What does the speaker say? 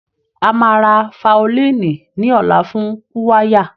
A máa rà faolíìnì ní ọ̀la fún kúwáyà